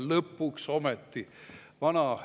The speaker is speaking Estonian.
Lõpuks ometi!